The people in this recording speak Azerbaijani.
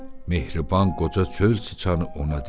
Mehriban qoca çöl çıçanı ona dedi.